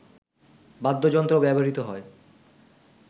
বাদ্যযন্ত্র ব্যবহৃত হয়